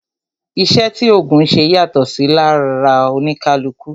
Iṣẹ́ tí ògùn ńṣe yàtọ̀ lára oníkálukú